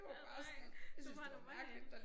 Åh nej det var bare normalt